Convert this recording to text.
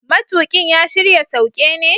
Matuƙin ya shirya sauke ne?